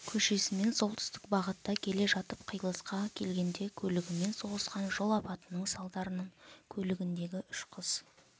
көшесімен солтүстік бағытта келе жатып қиылысқа келгенде көлігімен соғысқан жол апатының салдарынан көлігіндегі үш қыз